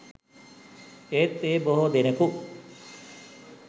ඒත් ඒ බොහෝ දෙනෙකු